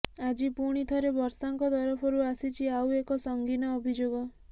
ଆଜି ପୁଣି ଥରେ ବର୍ଷାଙ୍କ ତରଫରୁ ଆସିଛି ଆଉ ଏକ ସଙ୍ଗୀନ ଅଭିଯୋଗ